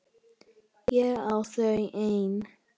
Ég á þau ein.